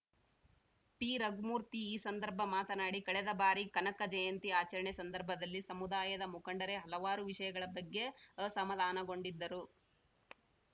ಟಿರಘುಮೂರ್ತಿ ಈ ಸಂದರ್ಭ ಮಾತನಾಡಿ ಕಳೆದ ಬಾರಿ ಕನಕ ಜಯಂತಿ ಆಚರಣೆ ಸಂದರ್ಭದಲ್ಲಿ ಸಮುದಾಯದ ಮುಖಂಡರೇ ಹಲವಾರು ವಿಷಯಗಳ ಬಗ್ಗೆ ಅಸಮಾಧಾನಗೊಂಡಿದ್ದರು